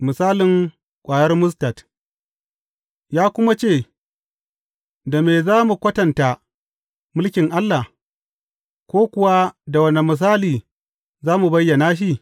Misalin ƙwayar mustad Ya kuma ce, Da me za mu kwatanta mulkin Allah, ko kuwa da wane misali za mu bayyana shi?